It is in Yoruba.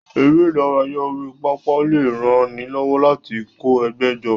Eré ìdárayá orí pápá lè ran ni lọ́wọ́ láti kó ẹgbẹ́ jọ.